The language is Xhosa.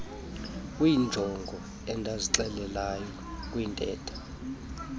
kweenjongo endazixelayo kwintetho